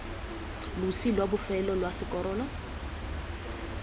losi lwa bofelo lwa sekorolo